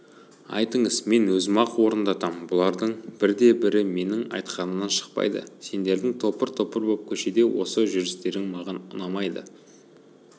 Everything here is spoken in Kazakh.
айтыңыз мен өзім-ақ орындатам бұлардың бірде-бірі менің айтқанымнан шықпайды сендердің топыр-топыр боп көшеде осы жүрістерің маған ұнамайды